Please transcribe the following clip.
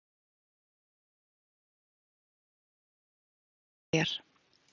Síðan var hann borinn kaldur og stirðnaður til bæjar.